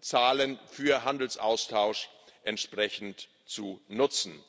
Zahlen für Handelsaustausch entsprechend zu nutzen.